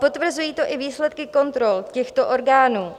Potvrzují to i výsledky kontrol těchto orgánů.